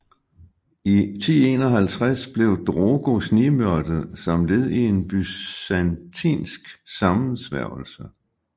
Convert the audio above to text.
I 1051 blev Drogo snigmyrdet som led i en byzantinsk sammensværgelse